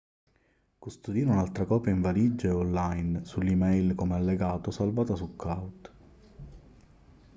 custodire un'altra copia in valigia e online sull'e-mail come allegato o salvata su cloud